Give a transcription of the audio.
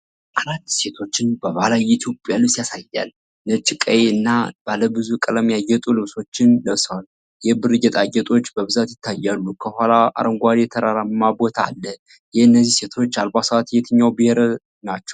አራት ሴቶችን በባህላዊ የኢትዮጵያ ልብስ ያሳያል። ነጭ፣ ቀይ እና ባለብዙ ቀለም ያጌጡ ልብሶችን ለብሰዋል። የብር ጌጣጌጦች በብዛት ይታያሉ። ከኋላ አረንጓዴ ተራራማ ቦታ አለ። የእነዚህ ሴቶች አልባሳት የየትኛው ብሔር ናቸው?